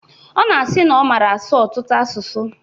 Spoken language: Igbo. Ọ na-asi na ọ mara asụ ọtụtụ asụsụ.